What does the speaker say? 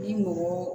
I mɔgɔ